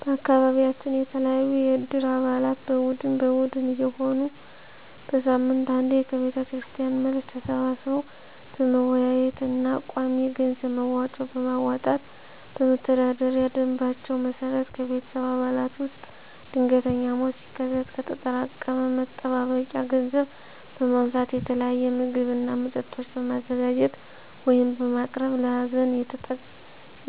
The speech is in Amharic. በአካቢያችን የተለያዩ የእድር አባላት በቡድን በቡድን እየሆኑ በሳምንት አንዴ ከቤተክርስቲያን መልስ ተሰባስበው በመወያየት እና ቋሚ የገንዘብ መዋጮ በማዋጣት በመተዳደሪያ ደምባቸው መሰረት ከቤተሰብ አባላት ውስጥ ድንገተኛ ሞት ሲከሰት ከተጠራቀመ መጠባበቂያ ገንዘብ በማንሳት የተለያየ ምግብ እና መጠጦች በማዘጋጀት (በማቅረብ) ለሀዘን